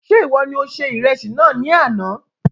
Ṣe iwọ ní o se ìrẹsì náà ní àna